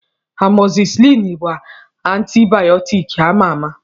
Amọzisilin bụ antibayọtik ama ama.